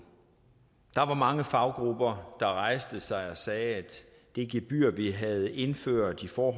der var mange faggrupper der rejste sig og sagde at det gebyr vi havde indført for